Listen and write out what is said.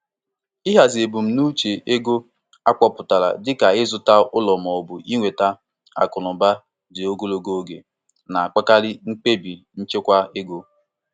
Ịhazi ebumnuche ego akpọutara, dịka ịzụta ụlọ maọbụ inweta akụnụba dị ogologo oge, na-akpali mkpebi nchekwa ego.